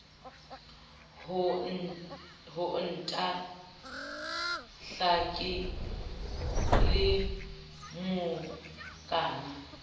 ho ntahla ke le mokana